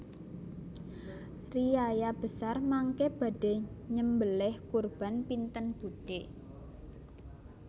Riyaya besar mangke badhe nyembeleh kurban pinten budhe